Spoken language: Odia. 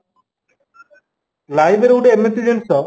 library ଗୋଟେ ଏମିତି ଜିନିଷ